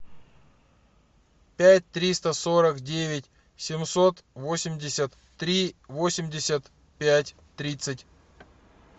пять триста сорок девять семьсот восемьдесят три восемьдесят пять тридцать